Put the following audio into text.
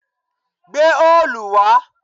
Gbé òòlù wà!